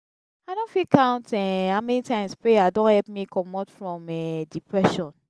i no fit count um how many times prayer don help me comot from um depression.